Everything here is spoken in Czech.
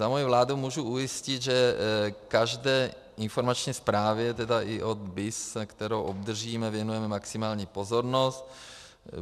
Za moji vládu můžu ujistit, že každé informační zprávě, tedy i od BIS, kterou obdržíme, věnujeme maximální pozornost.